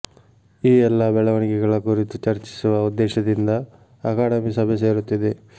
ಈ ಎಲ್ಲ ಬೆಳವಣಿಗಳ ಕುರಿತು ಚರ್ಚಿಸುವ ಉದ್ದೇಶದಿಂದ ಅಕಾಡೆಮಿ ಸಭೆ ಸೇರುತ್ತಿದೆ